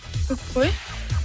көп қой